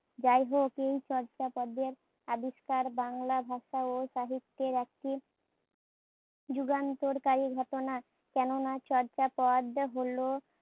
যায়হোক, এই চর্যাপদে আবিষ্কার বাংলা ভাষা ও সাহিত্যের একটি যুগান্তকারী ঘটনা, কেননা চর্যাপদ হোল